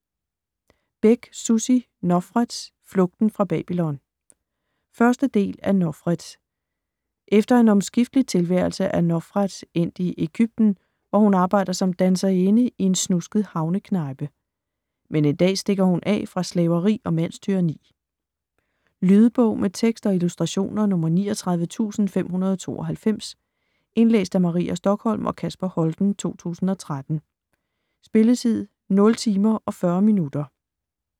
Bech, Sussi: Nofret - flugten fra Babylon 1. del af Nofret. Efter en omskiftelig tilværelse er Nofret endt i Ægypten, hvor hun arbejder som danserinde i en snusket havneknejpe. Men en dag stikker hun af fra slaveri og mandstyranni. Lydbog med tekst og illustrationer 39592 Indlæst af Maria Stokholm og Kasper Holten, 2013. Spilletid: 0 timer, 40 minutter.